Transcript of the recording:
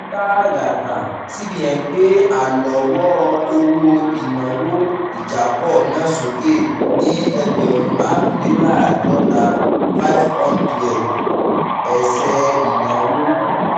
ní tààràtà cbn gbé àlọ́wọ́ owó ìnáwó ìjápọ̀ náà sókè ní ẹgbẹ̀rún márùnléláàádọ́ta [ five hundred ] ẹsẹ̀ ìnáwó